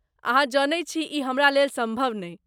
अहाँ जनैत छी ई हमरा लेल सम्भव नहि।